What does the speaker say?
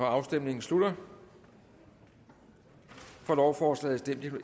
afstemningen slutter for lovforslaget stemte